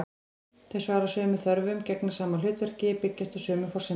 Þau svara sömu þörfum, gegna sama hlutverki, byggjast á sömu forsendum.